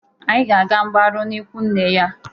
Anyị ga-aga mgbarụ n'ikwu nne ya.